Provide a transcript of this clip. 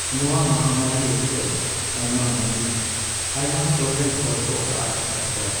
ᱱᱚᱣᱟ ᱢᱟᱦᱟᱢᱟᱹᱨᱤ ᱚᱠᱛᱚ ᱟᱭᱢᱟ ᱢᱟᱹᱱᱢᱤ ᱟᱭᱢᱟ ᱥᱚᱨᱨᱮᱱ ᱦᱚᱲᱠᱚ ᱟᱫᱼᱟᱠᱟᱫ ᱠᱚᱣᱟ ᱾